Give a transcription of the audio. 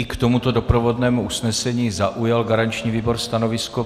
I k tomuto doprovodnému usnesení zaujal garanční výbor stanovisko.